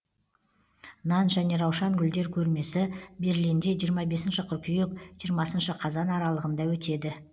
нан және раушан гүлдер көрмесі берлинде жиырма бесінші қыркүйек жиырмасыншы қазан аралығында өтеді